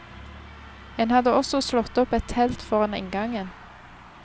En hadde også slått opp et telt foran inngangen.